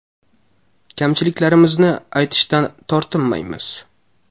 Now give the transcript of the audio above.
Kamchiliklarimizni aytishdan tortinmaymiz.